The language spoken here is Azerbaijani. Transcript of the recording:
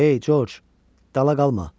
Ey George, dala qalma.